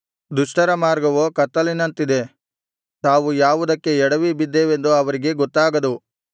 ದುಷ್ಟರ ಮಾರ್ಗವೋ ಕತ್ತಲಿನಂತಿದೆ ತಾವು ಯಾವುದಕ್ಕೆ ಎಡವಿಬಿದ್ದೆವೆಂದು ಅವರಿಗೆ ಗೊತ್ತಾಗದು